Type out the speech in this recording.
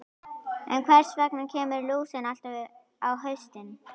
En hvers vegna kemur lúsin alltaf upp á haustin?